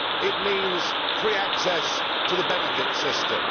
it means free access to the benefit system